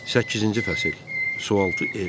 Səkkizinci fəsil: Sualtı ev.